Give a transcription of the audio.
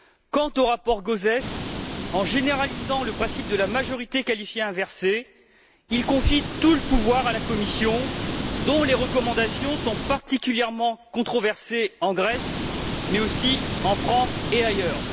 Quant au rapport Gauzès, en généralisant le principe de la majorité qualifiée inversée, il confie tout le pouvoir à la Commission, dont les recommandations sont particulièrement controversées en Grèce mais aussi en France et ailleurs.